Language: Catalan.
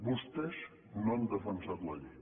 vostès no han defensat la llei